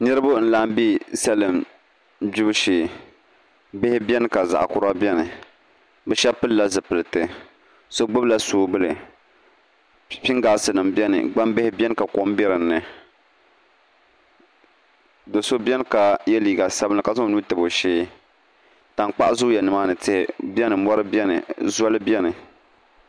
Niraba n laɣam bɛ salima gbibu shee bihi biɛni ka zaɣ kura biɛni bi shab pilila zipiliti shab gbubila soobuli pingaas nim biɛni gbambihi biɛni ka kom bɛ dinni do so biɛni ka yɛ liiga sabinli ka zaŋ o nuu tabi o shee tankpaɣu zooya nimaani tihi biɛni mori biɛni zoli biɛni